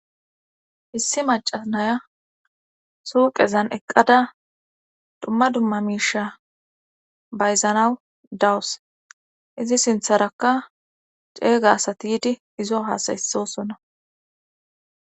Issi macca naya suuqezan eqqada dumma dumma miisha bayzanaw dawus izi sintharakka ceega asati yidi iyo haasa7issoosona.